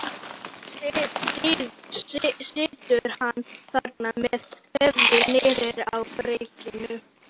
Nú situr hann þarna með höfuðið niður á bringu.